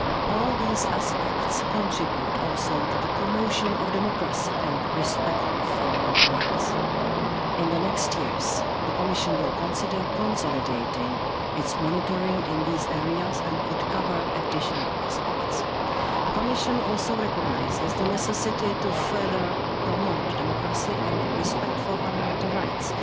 All these aspects contribute also to the promotion of democracy and respect of fundamental rights. In the next years, the Commission will consider consolidating its monitoring in these areas and could cover additional aspects. The Commission also recognises the necessity to further promote democracy and respect for fundamental rights.